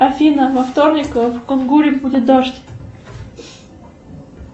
афина во вторник в кунгуре будет дождь